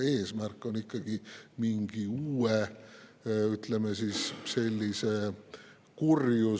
Eesmärk on ikkagi ära hoida mingi uue sellise, ütleme, kurjuseriigi tekkimist tühja ruumi.